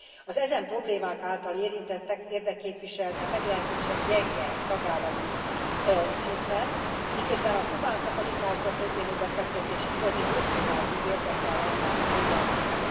Az e problémák által érintettek érdekképviselete meglehetősen gyenge tagállami szinten, miközben a humán kapacitásba történő befektetés igazi hosszú távú érdeke lenne mindenkinek.